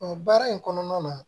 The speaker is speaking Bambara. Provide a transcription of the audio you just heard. baara in kɔnɔna na